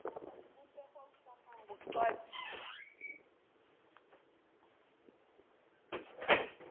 boqwabi